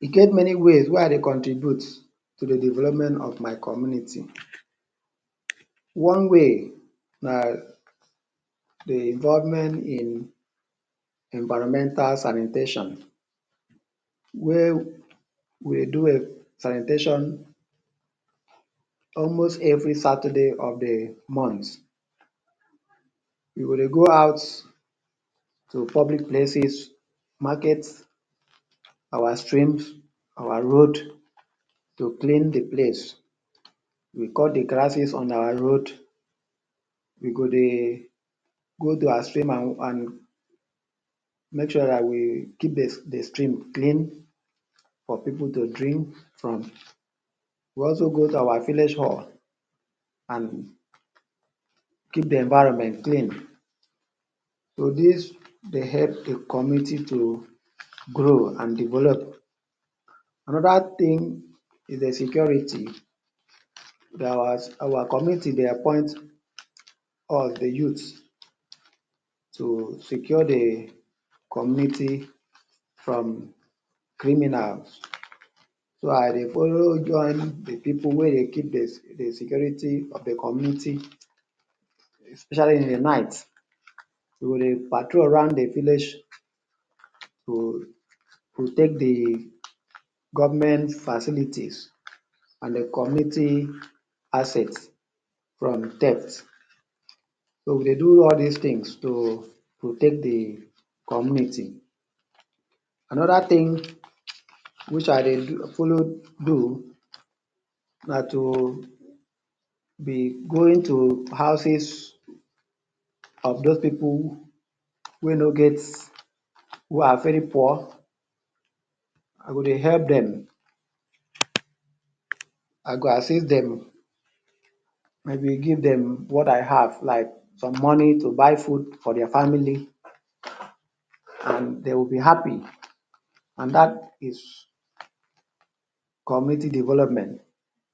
E get many ways wey I dey contribute to de development of my community one way na de government in environmental sanitation wey we do sanitation almost every Saturday of de month. we go dey go out to public places markets our streams our road to clean de place. we cut de grasses on our road go go dey go to our stream and make sure that you keep de stream clean for pipu to drink from. we also go to our village hall and keep de environment clean. so this dey help de community to grow and develop. another thing is de security that our our community dey appointment all de youths to secure de community from criminals. so I dey follow join de pipu wey dey keep de security of de community especially in de night. we dey payroll around de village to protect de government facilities and de community assets from theft. so we dey do all this things to protect de community. another thin which I dey follow do na to be going to houses of those pipu wey no get- who are very poor. I go dey help dem, I go assist dem; maybe give dem what I have like some money to buy food for their family and dey would be happy and that is community development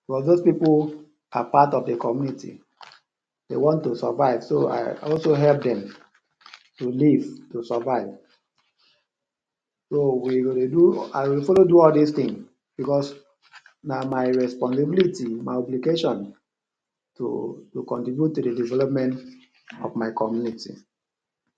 because those pipu are part of de community; dey want to survive so I also help dem to live to survive. so we go dey do I dey follow do all this thins because na my responsibility my obligations to contribute to de development of my community.